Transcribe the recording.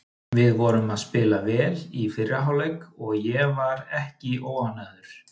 Við vorum að spila vel í fyrri hálfleik og ég var ekki óánægður.